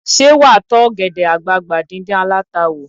Ṣé wà á tọ́ ọ̀gẹ̀dè àgbagbà díndín aláta wò?